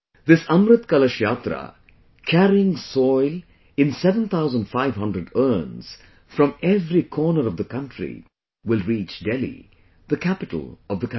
This 'Amrit Kalash Yatra' carrying soil in 7500 urns from every corner of the country will reach Delhi, the capital of the country